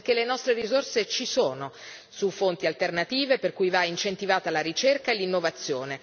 Perché le nostre risorse ci sono, su fonti alternative per cui va incentivata la ricerca e l'innovazione.